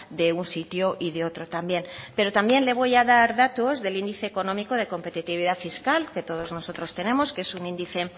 de un sitio y de otro también pero también la voy a dar datos del índice económico de competitividad fiscal que todos nosotros tenemos que es un índice